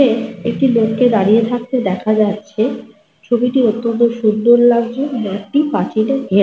দূরে একটি লোককে দাঁড়িয়ে থাকতে দেখা যাচ্ছে। ছবিটি অত্যন্ত সুন্দর লাগছে। মাঠটি পাঁচিলে ঘে--